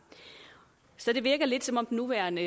så det virker lidt som om den nuværende